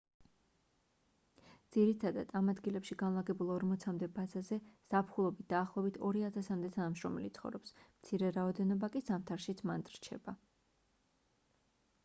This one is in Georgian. ძირითადად ამ ადგილებში განლაგებულ ორმოცამდე ბაზაზე ზაფხულობით დაახლოებით ორი ათასამდე თანამშრომელი ცხოვრობს მცირე რაოდენობა კი ზამთარშიც მანდ რჩება